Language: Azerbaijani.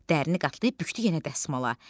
Dərini qatlayıb bükdü yenə dəsmala.